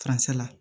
la